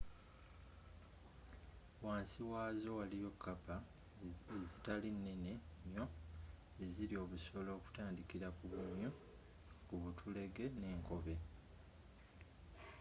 wansi wazo waliyo kappa ezitali nene nnyo ezirya obusolo okutandikira ku bumyu ku butulege ne nkobe